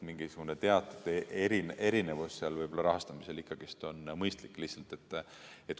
Mingisugune erinevus rahastamisel võib-olla on lihtsalt mõistlik.